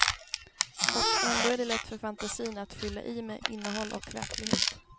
Och ändå är det lätt för fantasin att fylla i med innehåll och verklighet.